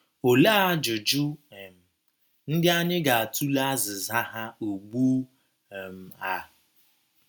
Olee ajụjụ um ndị anyị ga - atụle azịza ha ugbu um a?